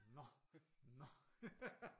Nå nå